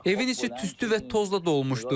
Evin içi tüstü və tozla dolmuşdu.